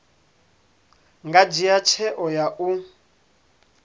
nga dzhia tsheo ya u